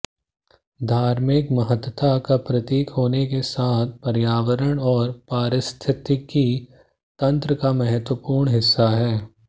धार्मिक महत्ता का प्रतीक होने के साथ पर्यावरण और पारिस्थितिकी तंत्र का महत्वपूर्ण हिस्सा है